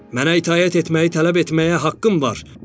Mənə itaət etməyi tələb etməyə haqqım var.